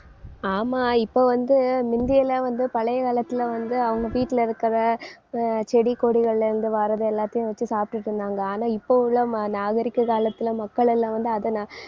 ஆமா இப்ப வந்து முந்தியெல்லாம் வந்து பழைய காலத்துல வந்து அவங்க வீட்டுல இருக்கிற அஹ் செடி கொடிகள்ல இருந்து வர்றது எல்லாத்தையும் வச்சு சாப்பிட்டுட்டிருந்தாங்க. ஆனா இப்ப உள்ள ம~ நாகரீக காலத்துல மக்களெல்லாம் வந்து அதை ந~